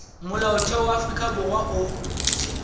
molaotheo wa afrika borwa o